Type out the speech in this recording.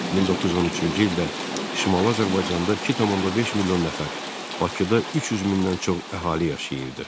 1913-cü ildə Şimali Azərbaycanda 2.5 milyon nəfər, Bakıda 300 mindən çox əhali yaşayırdı.